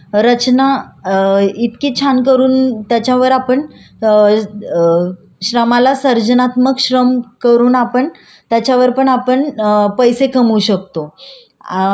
करून आपण त्याच्यावर पण आपण पैसे कमवू शकतो.सर्जात्मक श्रम म्हणजे कसलं की ध्येय मिळवण्यासाठी घेण्यात आलेल्या श्रमाला सरजात्मक श्रम म्हणतात